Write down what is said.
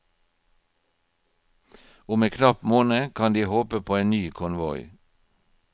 Om en knapp måned kan de håpe på en ny konvoi.